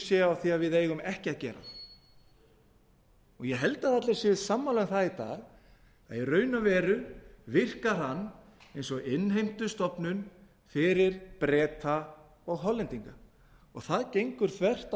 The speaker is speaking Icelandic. séu á því að við eigum ekki að gera það ég held að allir séu sammála um það í dag að í raun og veru virkar hann eins og innheimtustofnun fyrir breta og hollendinga og það gengur þvert